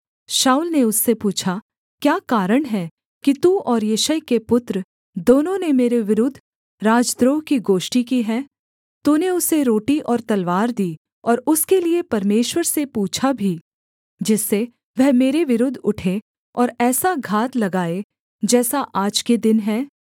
शाऊल ने उससे पूछा क्या कारण है कि तू और यिशै के पुत्र दोनों ने मेरे विरुद्ध राजद्रोह की गोष्ठी की है तूने उसे रोटी और तलवार दी और उसके लिये परमेश्वर से पूछा भी जिससे वह मेरे विरुद्ध उठे और ऐसा घात लगाए जैसा आज के दिन है